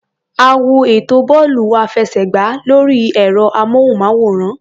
A wo ètò bọ́ọ̀lù-àfẹsẹ̀gbá lórí ẹ̀rọ-amóhùnmáwòrán.